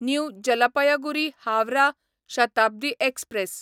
new Jalpaiguri Howrah Shatabdi express